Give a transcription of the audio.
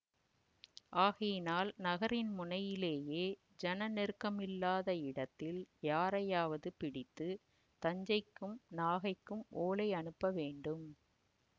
ஆகையினால் நகரின் முனையிலேயே ஜன நெருக்கமில்லாத இடத்தில் யாரையாவது பிடித்து தஞ்சைக்கும் நாகைக்கும் ஓலை அனுப்ப வேண்டும்